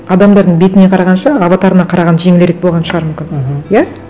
адамдардың бетіне қарағанша аватарына қараған жеңілірек болған шығар мүмкін мхм иә